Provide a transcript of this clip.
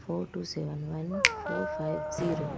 for two seven one four five zero --